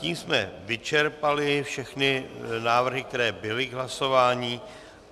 Tím jsme vyčerpali všechny návrhy, které byly k hlasování.